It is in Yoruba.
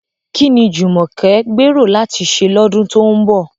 Kí ni Jumoke gbèrò láti ṣe lọ́dún tó ń bọ̀?